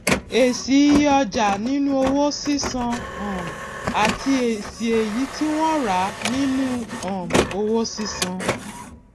èsì iye ọjà nínú owó sísan um àti èsì èyí tí wón rà nínú um owó sísan